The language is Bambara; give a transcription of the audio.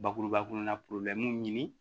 Bakuruba kɔnɔna ɲini